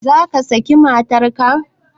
Zaka saki matar ka?